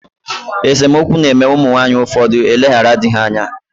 Esomokwu na eme umu nwaanyi ufodu eleghara dii ha anya.